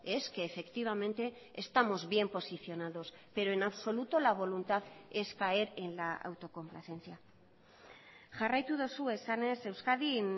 es que efectivamente estamos bien posicionados pero en absoluto la voluntad es caer en la autocomplacencia jarraitu duzu esanez euskadin